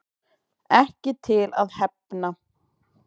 Ekki til að hefna